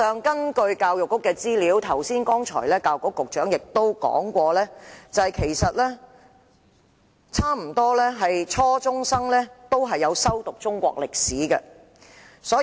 根據教育局的資料，教育局局長剛才亦提及，幾乎所有初中學生均修讀中國歷史科。